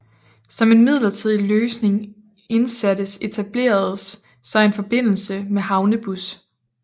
Som en midlertidig løsning indsattes etableredes så en forbindelse med havnebus